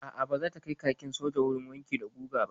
A'a baza ta kai kakin soja wurin wanki da guga ba.